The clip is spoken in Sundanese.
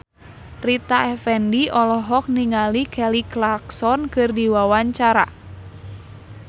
Rita Effendy olohok ningali Kelly Clarkson keur diwawancara